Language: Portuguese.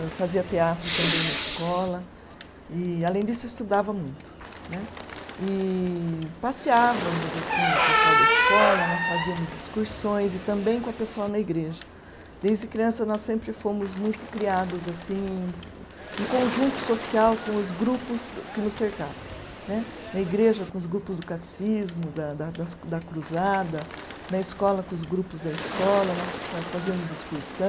Eu fazia teatro também na escola e além disso estudava muito né. E passeávamos assim o pessoal da escola, nós fazemos excursões e também com o pessoal na igreja. Desde criança nós sempre fomos muito criados assim em conjunto social com os grupos que nos cercavam né, na igreja com os grupos do catecismo da da das, da cruzada, na escola com os grupos da escola nós fazíamos excursão